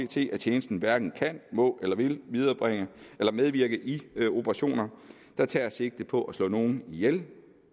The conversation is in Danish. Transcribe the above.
tjenesten hverken kan må eller vil medvirke i operationer der tager sigte på at slå nogen ihjel